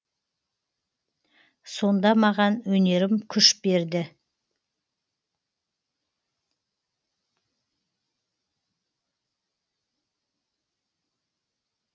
сонда маған өнерім күш берді